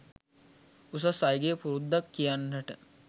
උසස් අයගේ පුරුද්දක් කියන්ට